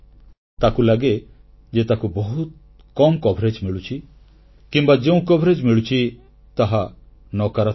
ତାକୁ ଲାଗେ ଯେ ତାକୁ ବହୁତ କମ୍ କଭରେଜ ମିଳୁଛି କିମ୍ବା ଯେଉଁ କଭରେଜ ମିଳୁଛି ତାହା ନକାରାତ୍ମକ